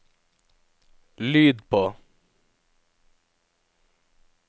lyd på